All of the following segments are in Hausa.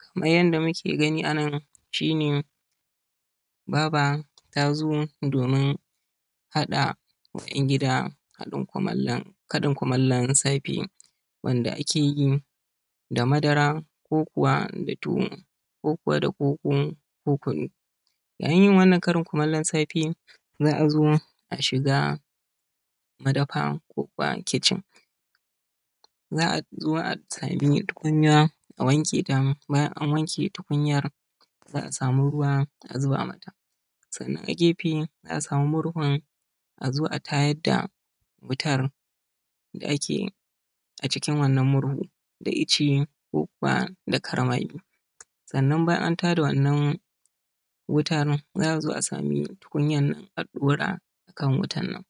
Kamar yanda muke gani a nan shi ne, baba ta zo domin haɗa ma ‘yan gida haɗin kumallo, karin kumallon safe wanda ake yi da madara ko kuwa da tuwo ko kuwa da koko ko kunu. Ya yin yin wannan karin kumallon safe za a zo a shiga madafa ko kuwa kicin, za a zo a sami tukunya a wanke ta, bayan an wanke tukunyar za a samu ruwa a zuba mata, sannan a gefe za a samu murhun a zo a tayad da wutar da ake, acikin wannan murhun, da ice ko kuwa da karmagi. Sannan bayan an tada wannan wutan za a zo a sami tukunyan a ɗora akan wutan nan,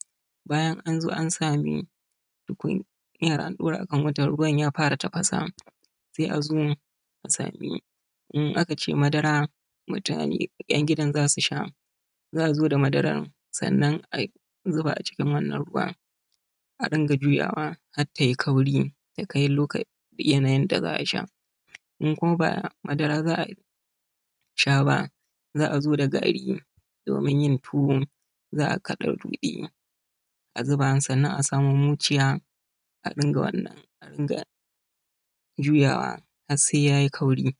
bayan an zo an sami tukunyar an ɗora akan wutan ruwan ya fara tafasa, sai a zo a sami, in aka ce madara, mutane, ‘yan gidan za su sha, za a zo da madaran sannan a zuba acikin wannan ruwan a rinƙa juyawa har ta yi kauri ya kai loka yanayin da za a sha. In kuma ba madara za a sha ba za a zo da gari domin yin tuwo za a kaɗa ruɗe a zuba sannan a samu muciya a rinƙa wannan, a rinƙa juyawa har sai yayi kauri.